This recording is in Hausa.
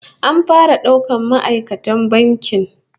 An fara daukan ma'aikatan bankin